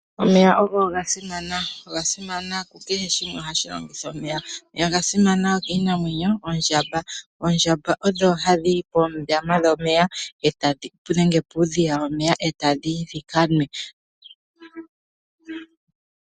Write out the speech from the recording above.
Omeya ogo ga simana. Oga simana ku kehe shimwe. Kehe shimwe ohashi longitha omeya. Omeya oga simana kiinamwenyo, oondjamba ohadhi yi poondama dhomeya nenge puudhiya womeya e ta dhi yi dhi ka nwe.